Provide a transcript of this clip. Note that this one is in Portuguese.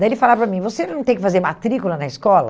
Daí ele falava para mim, você não tem que fazer matrícula na escola?